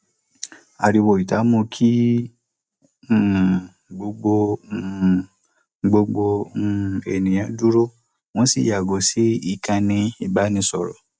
ariwo ìta mú kí um gbogbo um gbogbo um ènìyàn dúró wọn sì yàgò sí ìkànnì ìbánisọrọ